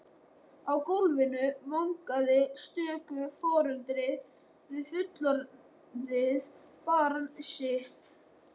Á gólfinu vangaði stöku foreldri við fullorðið barn sitt.